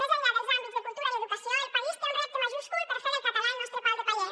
més enllà dels àmbits de cultura i educació el país té un repte majúscul per fer del català el nostre pal de paller